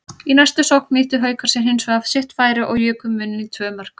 Í næstu sókn nýttu Haukar sér hinsvegar sitt færi og juku muninn í tvö mörk.